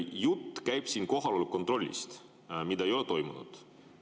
Jutt käib siin kohaloleku kontrollist, mida ei ole toimunud.